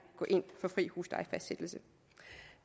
gå ind for fri huslejefastsættelse